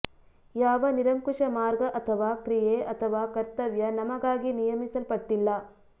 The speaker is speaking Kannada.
ಯಾವ ನಿರಂಕುಶ ಮಾರ್ಗ ಅಥವಾ ಕ್ರಿಯೆ ಅಥವಾ ಕರ್ತವ್ಯ ನಮಗಾಗಿ ನಿಯಮಿಸಲ್ಪಟ್ಟಿಲ್ಲ